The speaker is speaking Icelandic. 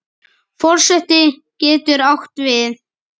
Forseti getur átt við